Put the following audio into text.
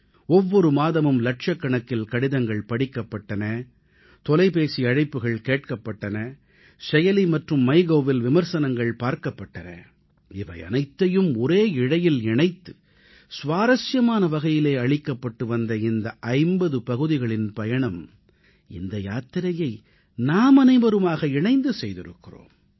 ஒவ்வொரு மாதமும் லட்சக்கணக்கில் கடிதங்கள் படிக்கப்பட்டன தொலைபேசி அழைப்புகள் கேட்கப்பட்டன செயலி மற்றும் MyGovஇல் விமர்சனங்கள் கவனிக்கப்பட்டன இவையனைத்தையும் ஒரே இழையில் இணைத்து சுவாரசியமான வகையிலே அளிக்கப்பட்டு வந்த இந்த 50 பகுதிகளின் பயணம் இந்த யாத்திரையை நாமனைவருமாக இணைந்து செய்திருக்கிறோம்